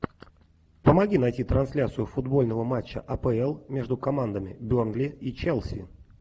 помоги найти трансляцию футбольного матча апл между командами бернли и челси